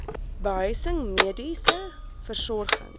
behuising mediese versorging